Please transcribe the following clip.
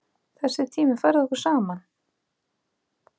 Þessi tími færði okkur saman.